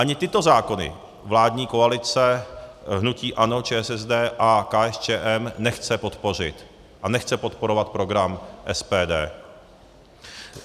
Ani tyto zákony vládní koalice hnutí ANO, ČSSD a KSČM nechce podpořit a nechce podporovat program SPD.